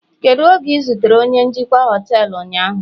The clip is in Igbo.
Kedu oge ị zutere onye njikwa họtelu ụnyaahụ